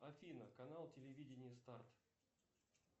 афина канал телевидения старт